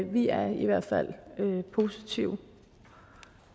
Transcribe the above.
vi er i hvert fald positive